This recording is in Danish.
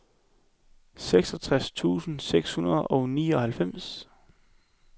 seksogtres tusind seks hundrede og nioghalvfems